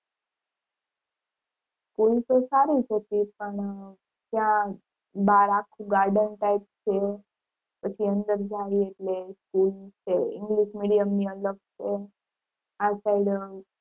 school તો સારી જ હતી પણ ત્યાં બહાર આખું garden type છે પછી અંદર જવી એટલે school છે english medium ની અલગ છે આ side